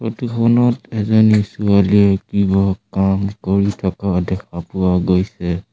Photo খনত এজনী ছোৱালীয়ে কিবা কাম কৰি থকা দেখা পোৱা গৈছে।